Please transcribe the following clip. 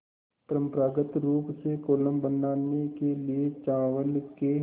परम्परागत रूप से कोलम बनाने के लिए चावल के